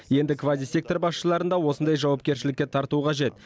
енді квазисектор басшыларын да осындай жауапкершілікке тарту қажет